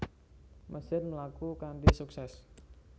Mesin mlaku kanthi suksès